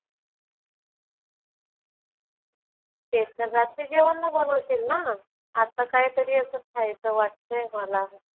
ते तर रात्री जेवणला बनवशील ना. आता काहीतरी असं खायचं वाटतंय मला.